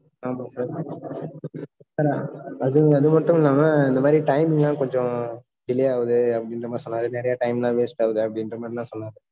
ஹான் okay நானு. அது, அது மட்டும் இல்லாம, இந்த மாதிரி time லாம் கொஞ்சம், delay ஆகுது, அப்படின்ற மாதிரி சொன்னாரு. நிறைய time லாம், waste ஆகுது, அப்படின்ற மாதிரி எல்லாம் சொன்னாரு